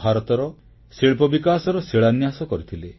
ଭାରତର ଶିଳ୍ପବିକାଶର ଶିଳାନ୍ୟାସ କରିଥିଲେ